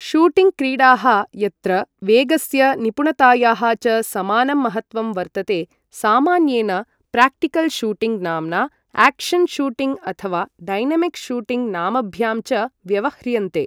Shooting क्रीडाः यत्र वेगस्य निपुणतायाः च समानं महत्त्वं वर्तते, सामान्येन प्राक्टिकल् शूटिङ्ग् नाम्ना एक्शन् शूटिङ्ग् अथ वा डैनमिक् शूटिङ्ग् नामभ्यां च व्यवह्रियन्ते।